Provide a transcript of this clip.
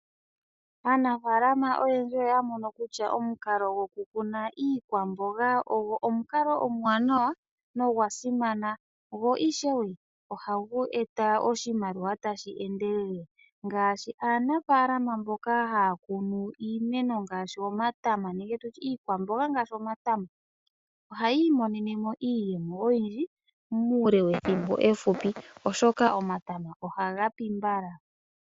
Aanafaalama oyendji oya mono kutya omukalo gokukuna iikwamboga ogo omukalo omuwanawa nogwa simana. Go ishewe ohagu eta oshimaliwa tashi endelele. Ngaashi aanafaalama mbyoka haya kunu iimeno ngaashi iikwamboga ngaashi omatama ohaya imonene mo iiyemo oyindji muule wethimbo efupi. Oshoka omatama ohaga pi mbala.